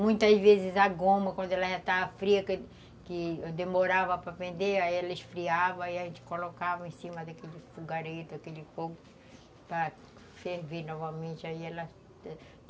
Muitas vezes a goma, quando ela já estava fria, que que demorava para vender, ela esfriava e a gente colocava em cima daquele fogareiro, daquele fogo para ferver novamente, aí ela